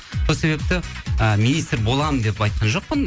сол себепті і министр боламын деп айтқан жоқпын